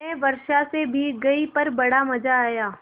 मैं वर्षा से भीग गई पर बड़ा मज़ा आया